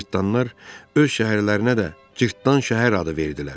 Cırtdanlar öz şəhərlərinə də Cırtdan şəhər adı verdilər.